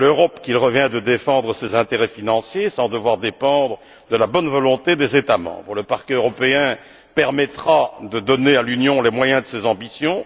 C'est à l'Europe qu'il revient de défendre ses intérêts financiers sans devoir dépendre de la bonne volonté des États membres. Le Parquet européen permettra de donner à l'Union les moyens de ses ambitions.